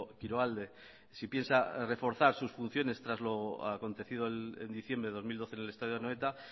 kiroalde si piensa reforzar sus funciones tras lo acontecido en diciembre de dos mil doce en el estadio de anoeta